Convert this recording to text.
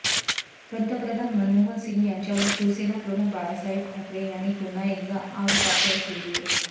पंतप्रधान मनमोहन सिंग यांच्यावर शिवसेनाप्रमुख बाळासाहेब ठाकरे यांनी पुन्हा एकदा आगपाखड केलीय